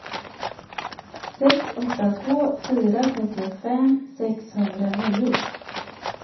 sex åtta två fyra trettiofem sexhundranio